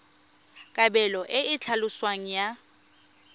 kabelo e e tlhaloswang ya